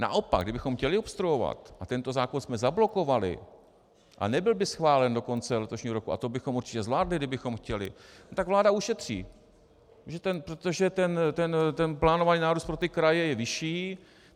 Naopak kdybychom chtěli obstruovat a tento zákon jsme zablokovali a nebyl by schválen do konce letošního roku, a to bychom určitě zvládli, kdybychom chtěli, tak vláda ušetří, protože ten plánovaný nárůst pro ty kraje je vyšší.